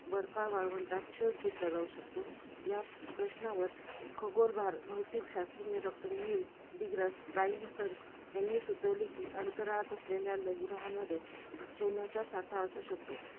बर्फाळ वाळवंटात शोध घेतला जाऊ शकतो, या प्रश्नांवर, खगोल भाग, भौतिक शास्त्रज्ञ doctor नील डीग्रा, डायटलसन्स यांनी सुचवले कि, अंतराळात असलेल्या लघु ग्रहांमध्ये, सोन्याचा साठ असू शकतो.